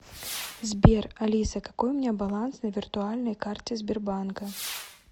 сбер алиса какой у меня баланс на виртуальной карте сбербанка